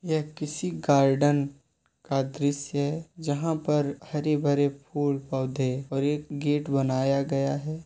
यह किसी गार्डन का दृश्य जहां पर हरे भरे फूल पौधे और एक गेट बनाया गया है।